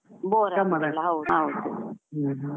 Bore ಹೌದು ಹೌದು.